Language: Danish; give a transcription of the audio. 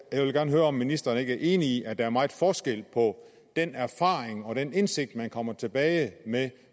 jeg vil gerne høre om ministeren ikke er enig i at der er meget forskel på den erfaring og den indsigt man kommer tilbage med